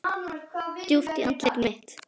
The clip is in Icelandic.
Djúpt í andlit mitt.